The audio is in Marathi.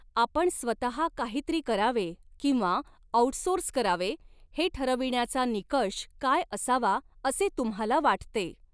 आपण स्वतः काहीतरी करावे किंवा आउटसोर्स करावे हे ठरविण्याचा निकष काय असावा असे तुम्हाला वाटते?